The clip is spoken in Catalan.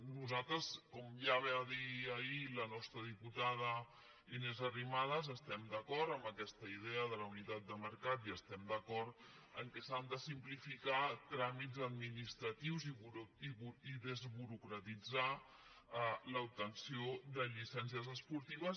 nos·altres com ja va dir ahir la nostra diputada inés arri·madas estem d’acord amb aquesta idea de la unitat de mercat i estem d’acord que s’han de simplificar tràmits administratius i desburocratitzar l’obtenció de llicèn·cies esportives